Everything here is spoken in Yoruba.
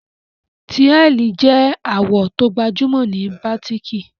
Tíàlì je àwò to gbajúmò ni batiki